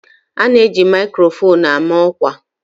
A na eji maikrofon ama ọkwa